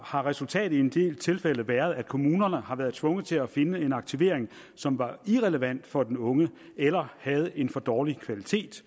har resultatet i en del tilfælde været at kommunerne har været tvunget til at finde en aktivering som var irrelevant for den unge eller havde en for dårlig kvalitet